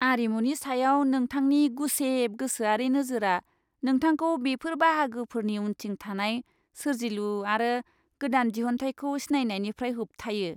आरिमुनि सायाव नोंथांनि गुसेब गोसोआरि नोजोरआ नोंथांखौ बेफोर बाहागोफोरनि उनथिं थानाय सोरजिलु आरो गोदान दिहुनथायखौ सिनायनायनिफ्राय होबथायो!